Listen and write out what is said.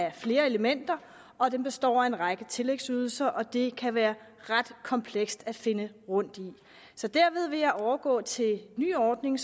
af flere elementer og den består af en række tillægsydelser og det kan være ret komplekst at finde rundt i så ved at overgå til den nye ordning